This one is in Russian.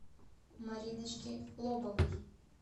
мариночке лобовой